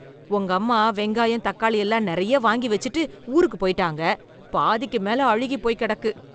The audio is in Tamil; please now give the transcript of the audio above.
உங்கம்மா வெங்காயம், தக்காளி எல்லாம் நெறைய வாங்கி வெச்சுட்டு, ஊருக்கு போய்ட்டாங்க... பாதிக்கு மேல அழுகிப் போய் கெடக்கு...